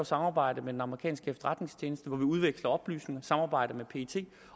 samarbejde med den amerikanske efterretningstjeneste udveksler oplysninger i samarbejde med pet